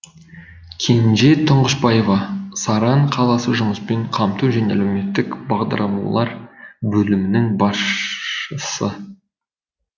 кенже тұңғышбаева саран қаласы жұмыспен қамту және әлеуметтік бағдарламалар бөлімінің басшысы